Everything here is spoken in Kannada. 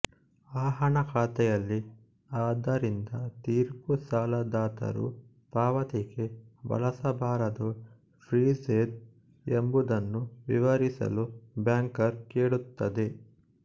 ಆಹಣ ಖಾತೆಯಲ್ಲಿ ಆದ್ದರಿಂದ ತೀರ್ಪು ಸಾಲದಾತರು ಪಾವತಿಗೆ ಬಳಸಬಾರದು ಫ಼್ರೀಜ಼ೆದ್ ಎಂಬುದನ್ನು ವಿವರಿಸಲು ಬ್ಯಾಂಕರ್ ಕೇಳುತ್ತದೆ